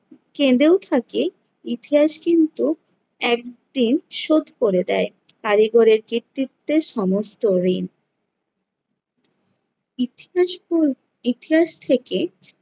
কেঁদেও থাকে ইতিহাস কিন্তু একদিন শোধ করে দেয় কারিগরের কৃত্তিত্বের সমস্ত ঋণ। ইতিহাস ইতিহাস থেকে